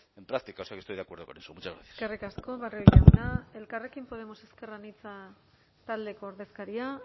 en práctica o sea que estoy de acuerdo con eso muchas gracias eskerrik asko barrio jauna elkarrekin podemos ezker anitza taldeko ordezkaria